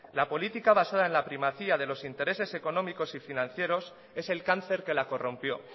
la política basada en la primacía de los intereses económicos y financieros es el cáncer que la corrompió